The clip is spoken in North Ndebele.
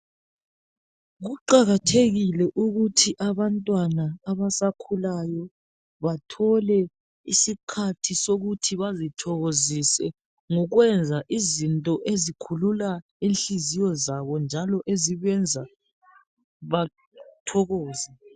Kuqakathekile ukuthi abantwana abasakhulayo bathole isikhathi sokuthi bazithokozise ngokwenza izinto ezikhulula inhliziyo zabo njalo ezibenza bathokoze.